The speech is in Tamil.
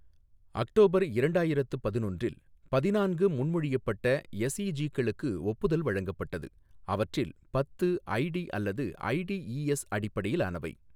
அக்டோபர் இரண்டாயிரத்து பதினொன்றில், பதிநான்கு முன்மொழியப்பட்ட எஸ்இஜீக்களுக்கு ஒப்புதல் வழங்கப்பட்டது, அவற்றில் பத்து, ஐடி அல்லது ஐடிஇஎஸ் அடிப்படையிலானவை.